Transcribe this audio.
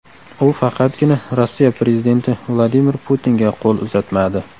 U faqatgina Rossiya prezidenti Vladimir Putinga qo‘l uzatmadi.